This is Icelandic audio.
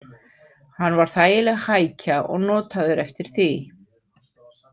Hann var þægileg hækja og notaður eftir því.